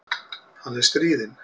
Hann er stríðinn.